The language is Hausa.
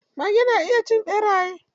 Mage na iya cin ɓeraye.